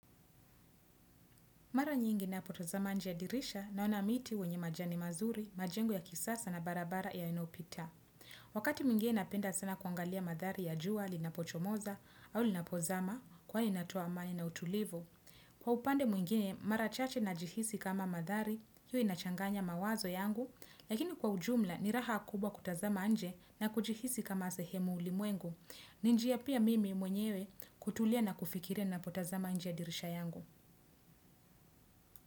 Mara nyingi na potazama njia dirisha na onamiti wenye majani mazuri, majengo ya kisasa na barabara ya inopita. Wakati mwingine napenda sana kuangalia madhari ya jua, linapochomoza, au linapozama, kwa inatoa amani na utulivu. Kwa upande mwingine, mara chache na jihisi kama madhari, yu inachanganya mawazo yangu, lakini kwa ujumla ni raha kubwa kutazama nje na kujihisi kama sehemu ulimwengu. Ninjia pia mimi mwenyewe kutulia na kufikiria na potazama nje ya dirisha yangu.